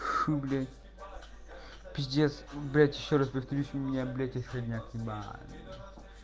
ху блядь пиздец блядь ещё раз повторюсь у меня блять отходняк ебать